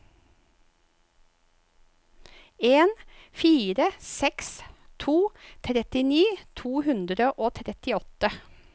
en fire seks to trettini to hundre og trettiåtte